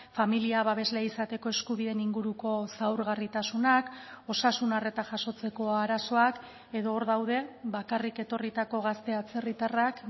familia babesle izateko eskubideen inguruko zaurgarritasunak osasun arreta jasotzeko arazoak edo hor daude bakarrik etorritako gazte atzerritarrak